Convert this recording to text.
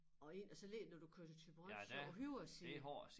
Og inde og så lige når du kører til Thyborøn så højre side